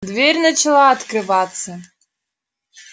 дверь начала открываться